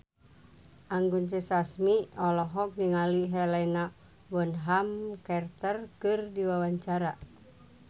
Anggun C. Sasmi olohok ningali Helena Bonham Carter keur diwawancara